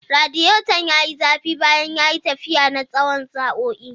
Radiator ya yi zafi bayan ya yi tafiya na tsawon sa'o'i.